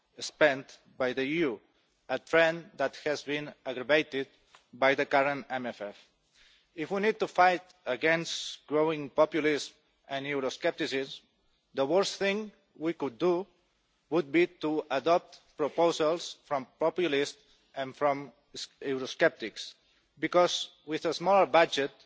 spent by the EU, a trend that has been aggravated by the current MFF. If we need to fight against growing populism and euroscepticism, the worst thing we could do would be to adopt proposals from populists and from eurosceptics, because with a small budget